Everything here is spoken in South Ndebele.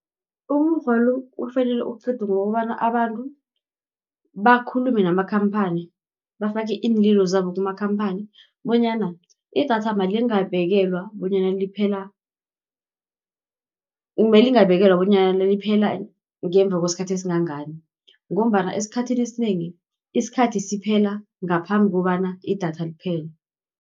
Umukghwa lo, ufanele uqedwe ngokobana abantu bakhulume namakhamphani. Bafake iinlilo zabo kumakhamphani, bonyana idatha alingabekelwa bonyana liphela ngemva kwesikhathi esingangani, ngombana esikhathini esinengi, isikhathi siphela ngaphambi kobana idatha liphele.